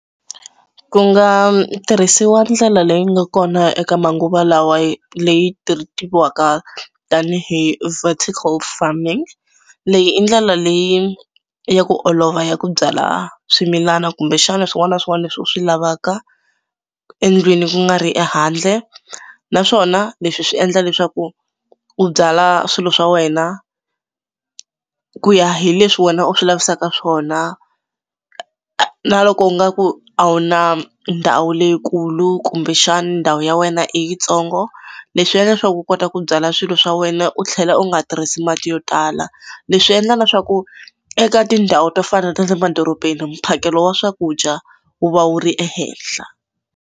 Ku nga tirhisiwa ndlela leyi nga kona eka manguva lawa leyi tiviwaka tanihi vertical farming. Leyi i ndlela leyi ya ku olova ya ku byala swimilana kumbexana swin'wana na swin'wana leswi u swi lavaka endlwini ku nga ri ehandle naswona leswi swi endla leswaku u byala swilo swa wena ku ya hi leswi wena u swi lavisaka swona na loko u nga ku a wu na ndhawu leyikulu kumbexani ndhawu ya wena i yitsongo leswi endla leswaku u kota ku byala swilo swa wena u tlhela u nga tirhisi mati yo tala. Leswi endla na swa ku eka tindhawu to fana na ta le madorobeni mphakelo wa swakudya wu va wu ri ehenhla.